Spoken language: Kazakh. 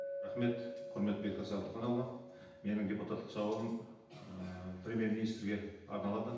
рахмет бектас әбдіханұлы менің депутаттық сауалым ы премьер министрге арналады